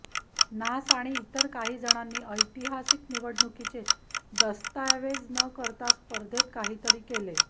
नास आणि इतर काही जणांनी ऐतिहासिक निवडणुकीचे दस्तएवज न करता स्पर्धेत काहीतरी केले